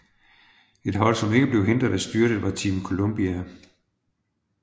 Et hold som ikke blev hindret af styrtet var Team Columbia